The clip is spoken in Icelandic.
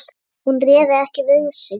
Hún réði ekki við sig.